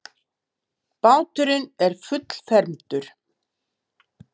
Báturinn er fullfermdur.